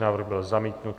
Návrh byl zamítnut.